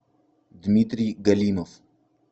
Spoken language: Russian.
дмитрий галимов